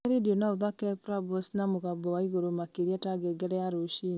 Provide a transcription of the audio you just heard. gwatia rĩndiũ na ũthaake prambors na mũgambo wa igũrũ makĩria ta ngengere ya rũciinĩ